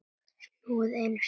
Snúið einu sinni.